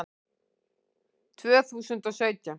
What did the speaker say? Tvö þúsund og sautján